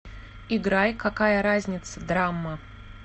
играй какая разница драмма